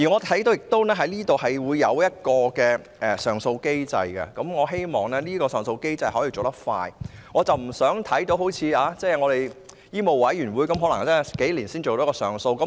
《條例草案》下也制訂了上訴機制，我希望上訴機制要有效率，不要像香港醫務委員會般數年才完成處理一宗上訴。